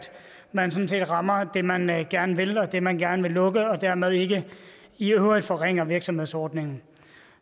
man sådan set rammer det man man gerne vil og det man gerne vil lukke og dermed ikke i øvrigt forringer virksomhedsordningen